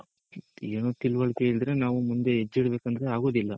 ಏನು ಏನು ತಿಳ್ವಳಿಕೆ ಇಲ್ದೆರೆ ನಾವು ಮುಂದೆ ಹೆಜ್ಜೆ ಇಡ್ಬೇಕು ಅಂದ್ರೆ ಆಗೋದಿಲ್ಲ .